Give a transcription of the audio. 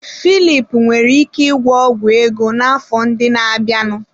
Filip nwere ike ịgwọ ọgwụ ego n'afọ ndị na-abịanụ.